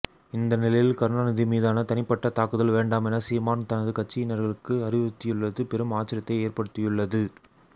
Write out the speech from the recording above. இந்த நிலையில் கருணாநிதி மீதான தனிப்பட்ட தாக்குதல் வேண்டாம் என சீமான் தனது கட்சியினர்களுக்கு அறிவுறுத்தியுள்ளது பெரும் ஆச்சரியத்தை ஏற்படுத்தியுள்ளது